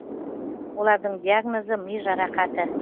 олардың диагнозы ми жарақаты